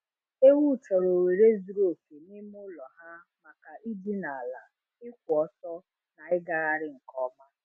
Ewu chọrọ ohere zuru oke n'ime ụlọ ha makai dine ala, ịkwụ ọtọ, na ịgagharị nke ọma.